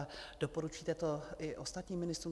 A doporučíte to i ostatním ministrům?